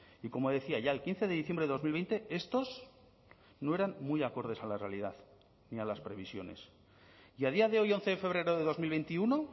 y como decía ya el quince de diciembre de dos mil veinte estos no eran muy acordes a la realidad ni a las previsiones y a día de hoy once de febrero de dos mil veintiuno